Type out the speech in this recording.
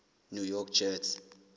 new york jets